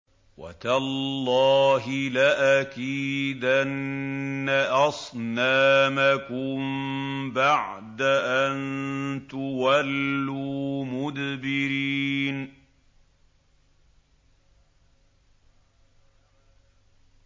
وَتَاللَّهِ لَأَكِيدَنَّ أَصْنَامَكُم بَعْدَ أَن تُوَلُّوا مُدْبِرِينَ